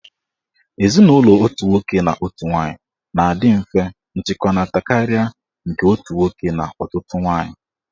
Ezinụlọ otu nwoke na otu nwaanyị na-adị mfe nchịkọta karịa nke otu nwoke na ọtụtụ nwaanyị.